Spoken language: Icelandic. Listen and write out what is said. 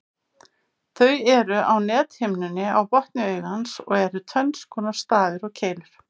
Þeir eru á nethimnunni á botni augans og eru tvenns konar, stafir og keilur.